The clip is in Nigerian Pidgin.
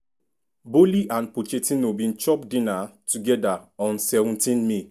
boehly and pochettino bin chop dinner togeda on seventeenmay.